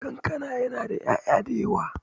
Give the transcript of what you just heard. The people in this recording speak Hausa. Kankana na da 'ya'ya dayawa.